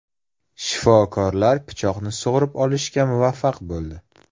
Shifokorlar pichoqni sug‘urib olishga muvaffaq bo‘ldi.